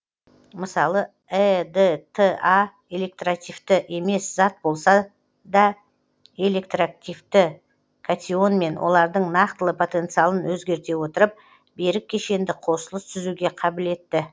мысалы эдта электрактивті емес зат болса да электрактивті катионмен олардың нақтылы потенциалын өзгерте отырып берік кешенді қосылыс түзуге қабілетті